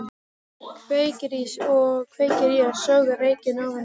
Kveikir í og sogar reykinn ofan í sig.